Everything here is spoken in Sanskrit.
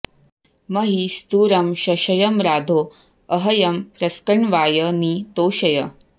महि॑ स्थू॒रं श॑श॒यं राधो॒ अह्र॑यं॒ प्रस्क॑ण्वाय॒ नि तो॑शय